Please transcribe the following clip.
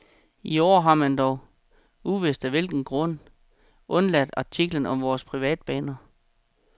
I år har man dog, uvist af hvilken grund, undladt artikler om vore privatbaner.